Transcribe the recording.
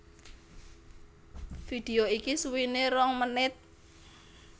Vidéo iki suwéné rong menit